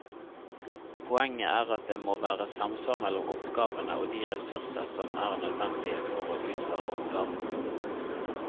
Poenget er at det må være samsvar mellom oppgavene og de ressurser som er nødvendige for å utføre oppgavene.